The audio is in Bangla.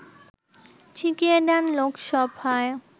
ছিটিয়ে দেন লোকসভায়